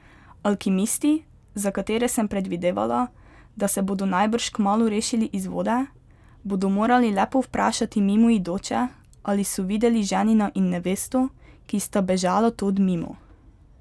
Alkimisti, za katere sem predvidevala, da se bodo najbrž kmalu rešili iz vode, bodo morali le povprašati mimoidoče, ali so videli ženina in nevesto, ki sta bežala tod mimo.